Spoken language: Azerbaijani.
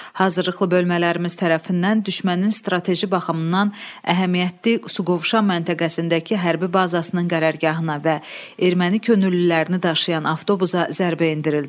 Hazırlıqlı bölmələrimiz tərəfindən düşmənin strateji baxımdan əhəmiyyətli Suqovuşan məntəqəsindəki hərbi bazasının qərargahına və erməni könüllülərini daşıyan avtobusa zərbə endirildi.